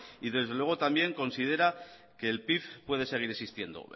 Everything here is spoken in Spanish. y desde luego también considera que el pif puede seguir existiendo